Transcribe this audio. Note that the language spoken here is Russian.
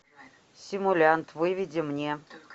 симулянт выведи мне